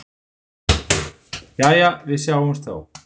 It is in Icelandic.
Jæja, við sjáumst þá.